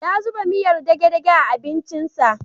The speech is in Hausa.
Ya zuba miyar dage-dage a abincinsa